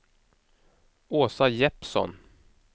Åsa Jeppsson